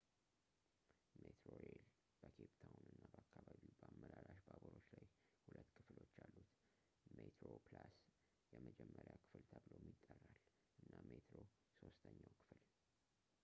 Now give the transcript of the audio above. ሜትሮሬል በኬፕ ታውን እና በአከባቢው በአመላላሽ ባቡሮች ላይ ሁለት ክፍሎች አሉት፦ ሜትሮፕላስ የመጀመሪያ ክፍል ተብሎም ይጠራል እና ሜትሮ ሦስተኛው ክፍል